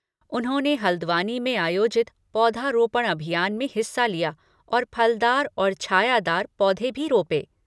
उन्होंने हल्द्वानी में आयोजित पौधरोपण अभियान में हिस्सा लिया और फलदार और छायादार पौधे भी रोपे।